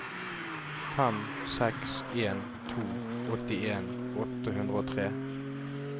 fem seks en to åttien åtte hundre og tre